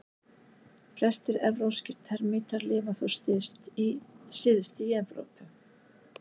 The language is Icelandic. Flestir evrópskir termítar lifa þó syðst í Evrópu.